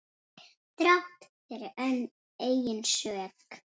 Þrátt fyrir eigin sök.